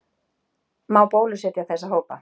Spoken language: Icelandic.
Má bólusetja þessa hópa?